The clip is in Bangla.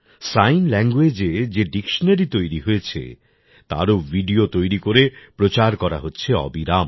সাইন ল্যাংগুয়েজ এ যে ডিকশনারি তৈরি হয়েছে তারও ভিডিও তৈরি করে প্রচার করা হচ্ছে অবিরাম